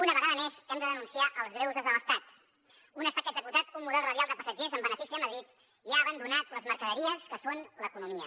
una vegada més hem de denunciar els greuges de l’estat un estat que ha executat un model radial de passatgers en benefici de madrid i ha abandonat les mercaderies que són l’economia